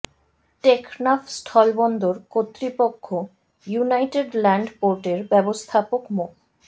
টেকনাফ স্থলবন্দর কর্তৃপক্ষ united land port এর ব্যবস্থাপক মো